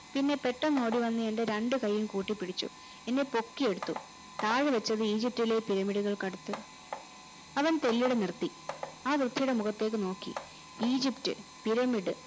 പിന്നെ പെട്ടനന്ന് ഓടി വെന്ന് എന്റെ രണ്ടു കൈകളും കൂട്ടി പിടിച്ചു എന്നെ പൊക്കിയടുത്തു താഴെ വെച്ചത് ഈജിപ്തിലെ pyramid കൾക്കടുത് അവൻ കൈകളുയർത്തി ആ വ്യകതിയുടെ മുഖതേക്ക് നോക്കി ഈജിപ്ത് pyramid